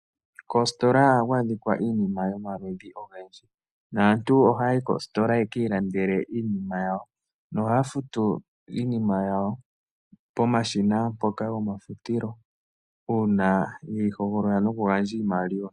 Koositola ohaku adhika iinima yomaludhi ogendji, naantu oha yayi koositola yaka ilandele iinima yawo, nohaya futu iinima yawo pomashina mpoka gomafutilo, uuna yeyi hogolola no kugandja iimaliwa.